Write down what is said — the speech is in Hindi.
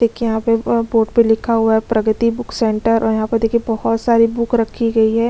देखिए यहाँ बोर्ड पे लिखा हुआ है प्रगती बुक सेंटर और यहाँ पे देखिए बहुत सारी बुक रखी गयी है।